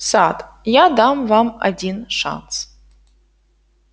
сатт я дам вам один шанс